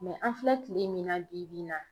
an filɛ kile min na bi bi in na